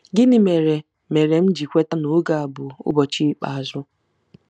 ’ Gịnị mere mere m ji kweta na oge a bụ “ụbọchị ikpeazụ”? '